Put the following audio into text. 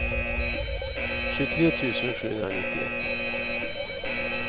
tjugotre tusen sjuhundranittioett